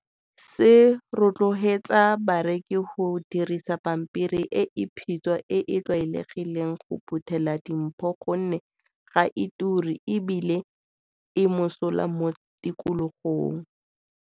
Se rotloetsa bareki go dirisa pampiri e e phitshwa e e tlwaelegileng go phuthela dimpho gonne ga e turi e bile e mosola mo tikologong.